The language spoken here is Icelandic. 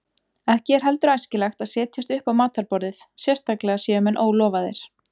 Ekki er heldur æskilegt að setjast upp á matarborðið, sérstaklega séu menn ólofaðir.